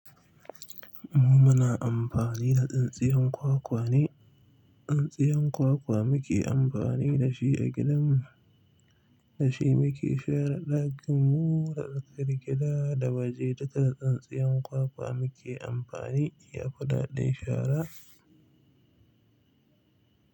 Mu muna amfani da tsintsiyan kwakwa ne. Tsintsiyan kwakwa muke amfani da shi a gidanmu, da shi muke share ɗakin mu, da tsakar gida da waje. Duk da tsintsiyan kwakwa muke amfani, ya fi daɗin shara.